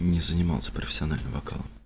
не занимался профессионально вокалом